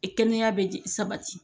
kɛnɛya bɛ di sabati